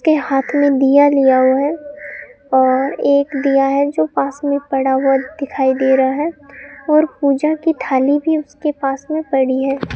के हाथ में दिया लिया हुआ है और एक दिया है जो पास में पड़ा हुआ दिखाई दे रहा है और पूजा की थाली भी उसके पास में पड़ी है।